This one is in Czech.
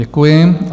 Děkuji.